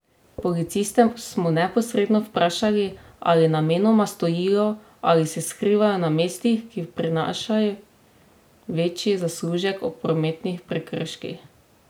Policiste smo neposredno vprašali, ali namenoma stojijo ali se skrivajo na mestih, ki prinašaj večji zaslužek ob prometnih prekrških?